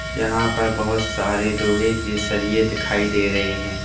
यहां पर बहोत सारे लोहे के सरिए दिखाई दे रहे हैं।